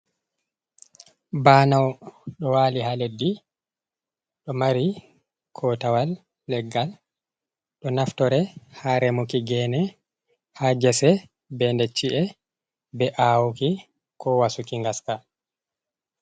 Baanau ɗo wali ha leddi do mari kootawal leggal ɗo naftore ha remuki gene, ha jese, be ndecci’e be awuki ko wasuki ngaska.